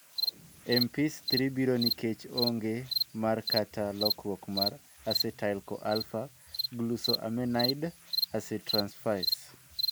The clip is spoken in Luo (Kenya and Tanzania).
MPS III biro nikech ong'e mar kata lokruok mar acetyl CoAlpha glucosaminide acetyltransferase.